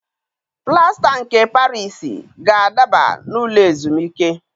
Plasta nke Parisi ga-adaba n'ụlọ ezumike